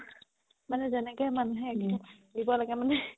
মানে যেনেকে মানুহে দিব লাগে মানে